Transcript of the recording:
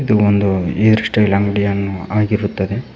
ಇದೊಂದು hair style ಅಂಗಡಿಯನ್ನು ಆಗಿರುತ್ತದೆ.